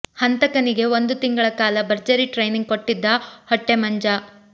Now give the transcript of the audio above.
ಹಂತಕನಿಗೆ ಒಂದು ತಿಂಗಳ ಕಾಲ ಭರ್ಜರಿ ಟ್ರೈನಿಂಗ್ ಕೊಟ್ಟಿದ್ದ ಹೊಟ್ಟೆ ಮಂಜ